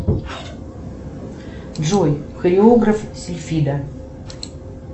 джой хореограф сильфида